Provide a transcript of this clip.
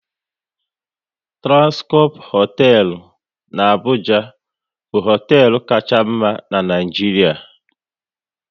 Transcorp hoteelu n'Abuja bụ hoteelu Kacha mma n'Naijiria